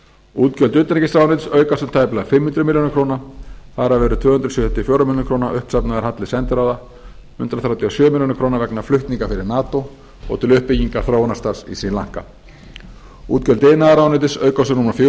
útgjöld utanríkisráðuneytis aukast um tæplega fimm hundruð milljóna króna þar af eru tvö hundruð sjötíu og fjórar milljónir króna uppsafnaður halli sendiráða hundrað þrjátíu og sjö milljónir króna vegna flutninga fyrir nato og til uppbyggingar þróunarstarfs í sri lanka útgjöld iðnaðarráðuneytis aukast um rúmar fjögur hundruð